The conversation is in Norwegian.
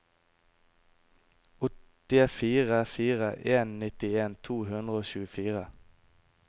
åtte fire fire en nittien to hundre og tjuefire